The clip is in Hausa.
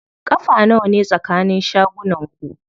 Ƙafa nawane tsakanin shagunan ku?